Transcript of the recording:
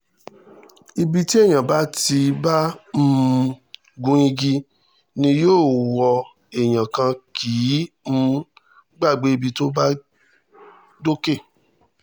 ibi tí èèyàn bá ti bá um gun igi ni yóò wọ èèyàn kan kì í um gbàgbé ibi tó bá dókè